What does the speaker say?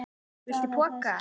Viltu poka?